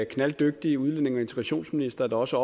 knalddygtig udlændinge og integrationsminister der også